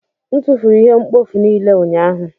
M tụfuru ihe mkpofu niile ụnyahụ.